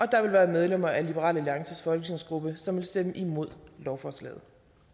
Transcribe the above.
der vil være medlemmer af liberal alliances folketingsgruppe som vil stemme imod lovforslaget